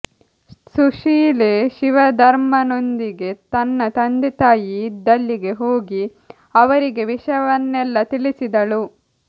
ಸುಶೀಲೆ ಶಿವಧರ್ಮನೊಂದಿಗೆ ತನ್ನ ತಂದೆತಾಯಿ ಇದ್ದಲ್ಲಿಗೆ ಹೋಗಿ ಅವರಿಗೆ ವಿಷಯವನ್ನೆಲ್ಲ ತಿಳಿಸಿದಳು